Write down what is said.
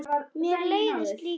Mér leiðist líka.